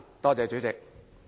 多謝主席。